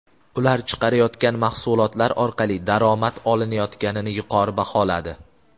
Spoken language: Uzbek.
ular chiqarayotgan mahsulotlar orqali daromad olinayotganini yuqori baholadi.